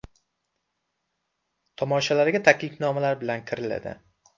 Tomoshalarga taklifnomalar bilan kiriladi.